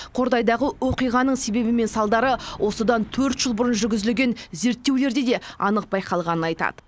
қордайдағы оқиғаның себебі мен салдары осыдан төрт жыл бұрын жүргізілген зерттеулерде де анық байқалғанын айтады